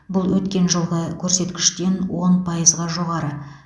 бұл өткен жылғы көрсеткіштен он пайызға жоғары